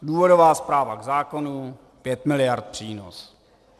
Důvodová zpráva k zákonu - 5 miliard přínos.